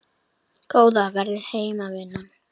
Góða ferð heim vinan.